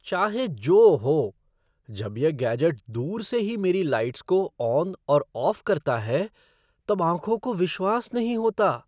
चाहे जो हो! जब यह गैजेट दूर से ही मेरी लाइट्स को ऑन और ऑफ़ करता है तब आँखों को विश्वास नहीं होता।